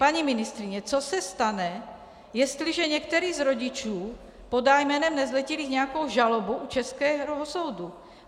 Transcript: Paní ministryně, co se stane, jestliže některý z rodičů podá jménem nezletilých nějakou žalobu u českého soudu?